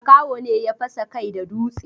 Makaho ne ya fasa kai da dutse.